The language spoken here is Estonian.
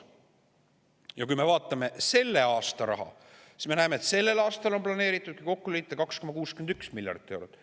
Ja kui me vaatame selle aasta raha, siis me näeme, et sellel aastal on planeeritud – kui kokku liita – 2,61 miljardit eurot.